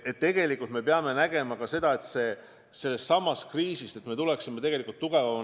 Ja me peame nägema ka seda, kuidas me sellest kriisist tugevamana välja tuleksime.